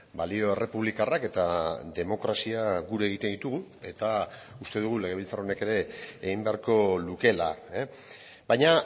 balio errepublikarrak eta demokrazia gure egiten ditugu eta uste dugu legebiltzar honek ere egin beharko lukeela baina